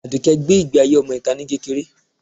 Adùké gbé ìgbé ayé ọmọ itá ni kékeré.